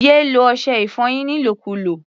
Yé lo ọṣẹ-ìfọyín nílòkulò!